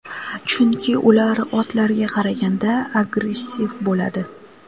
Chunki ular otlarga qaraganda agressiv bo‘ladi.